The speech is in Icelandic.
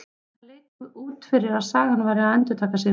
Það leit út fyrir að sagan væri að endurtaka sig núna.